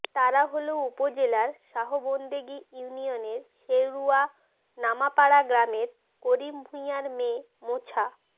তারা হলো উপজেলার শাহবন্দেগী ইউনিয়নের শেরুয়া নামাপাড়া গ্রামের করিম ভূঁইয়ার মেয়ে মোছা